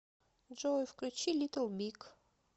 джой включи литл биг